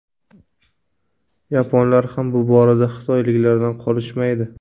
Yaponlar ham bu borada xitoyliklardan qolishmaydi.